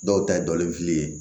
Dɔw ta ye dɔni fili ye